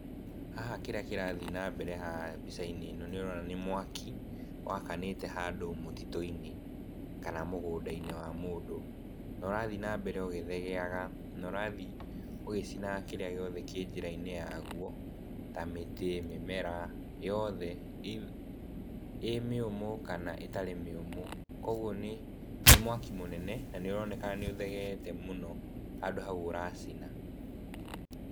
Haha kĩrĩa kĩrathi na mbere haha mbica-inĩ ĩno, nĩũrona nĩ mwaki, wakanĩte handũ mũtitũ-inĩ, kana mũgũnda-inĩ wa mũndũ. Na ũrathi na mbere ũgĩthegeaga, na ũrathi ũgĩcinaga kĩrĩa gĩothe kĩ njĩra-inĩ ya guo, ta mĩtĩ, mĩmera, yothe ĩĩ mĩũmũ, kana ĩtarĩ mĩũmũ. Koguo nĩ, nĩ mwaki mũnene, na nĩ ũroneka nĩ ũthegeete mũno handũ hau ũracina.